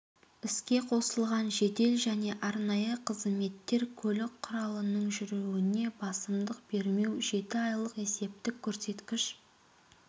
іске қосылған жедел және арнайы қызметтер көлік құралының жүруіне басымдық бермеу жеті айлық есептік көрсеткіш